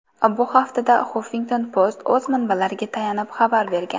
Bu haqda Huffington Post o‘z manbalariga tayanib xabar bergan.